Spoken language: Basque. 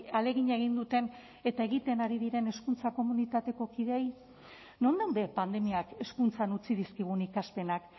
ahalegina egin duten eta egiten ari diren hezkuntza komunitateko kideei non daude pandemiak hezkuntzan utzi dizkigun ikaspenak